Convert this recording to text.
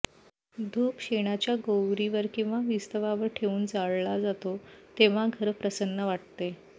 धूप शेणाच्या गोवरीवर किंवा विस्तवावर ठेवून जाळला जातो तेव्हा घर प्रसन्न वाटते